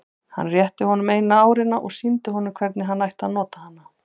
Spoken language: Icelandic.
Hann rétti honum eina árina og sýndi honum hvernig hann ætti að nota hana.